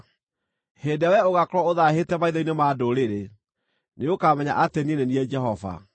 Hĩndĩ ĩrĩa wee ũgaakorwo ũthaahĩte maitho-inĩ ma ndũrĩrĩ, nĩũkamenya atĩ niĩ nĩ niĩ Jehova.’ ”